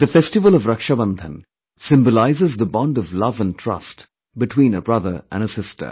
The festival of Rakshabandhan symbolizes the bond of love & trust between a brother & a sister